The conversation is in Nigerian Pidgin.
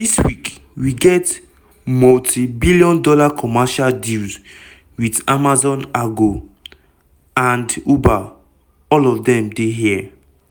dis week we get multi -billion dollar commercial deals with amazon argo amd uber all of dem dey here."